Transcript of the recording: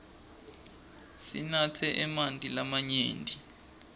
sinatse emanti lamanyenti